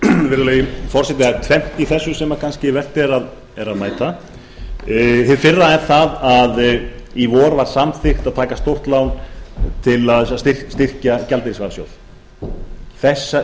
virðulegi forseti það er tvennt í þessu sem kannski vert er að mæta hið fyrra er það að í vor var samþykkt að taka stórt lán til þess að styrkja gjaldeyrisvarasjóð þessi